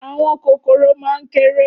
Áwòn kókóró má n kèrè